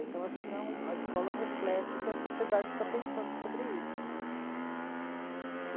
Então acho que não é um, a escola reflete o que a sociedade está pensando sobre isso.